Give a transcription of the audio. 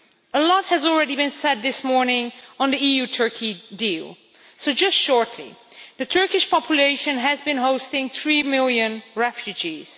A lot has already been said this morning on the EU Turkey deal, so I will just briefly say the Turkish population has been hosting three million refugees.